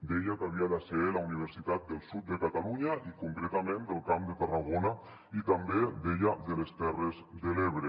deia que havia de ser la universitat del sud de catalunya i concretament del camp de tarragona i també deia de les terres de l’ebre